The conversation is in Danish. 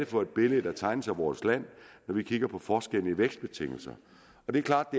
for et billede der tegner sig af vores land når vi kigger på forskellene i vækstbetingelserne og det er klart